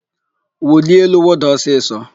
Wulie elu, wụda ọsịsọ!